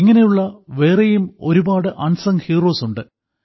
ഇങ്ങനെയുള്ള വേറെയും ഒരുപാട് അൻസങ് ഹീറോസ് ഉണ്ട്